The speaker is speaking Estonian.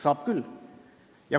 Saab küll.